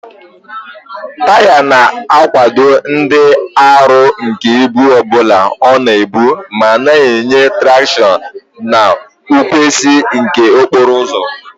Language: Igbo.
Taya na-akwado ịdị arọ nke ibu ọ bụla ọ na-ebu ma na-enye traction na nkwụsi ike n'okporo ụzọ.